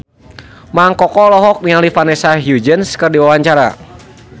Mang Koko olohok ningali Vanessa Hudgens keur diwawancara